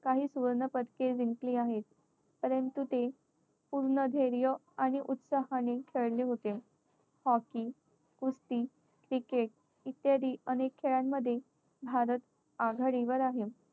काही सुवर्णपदके जिंकली आहेत. परंतु ते पूर्ण धैर्य आणि उत्साहाने खेळले होते. hockey कुस्ती cricket इत्यादि अनेक खेळांमध्ये भारत आघाडीवर आहे.